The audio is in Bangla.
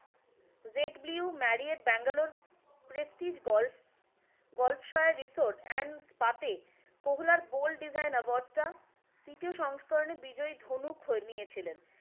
Z blue Marriott Bengaluru prestige golf গল্ফসও রিসোর্ট এন্ড স্পাতে কহলার বোল্ড ডিজাইন অ্যাওয়ার্ড টা তৃতীয় সংস্করণে বিজয়ী ধনুক নিয়ে ছিলেন।